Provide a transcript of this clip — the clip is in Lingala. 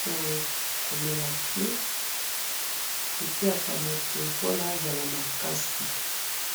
to, grain noir